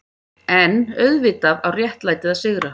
EN auðvitað á réttlætið að sigra.